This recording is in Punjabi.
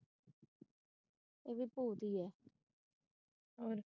ਇਹ ਵੀ ਭੂਤ ਹੀ ਹੈ।